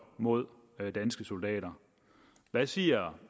mod danske soldater hvad siger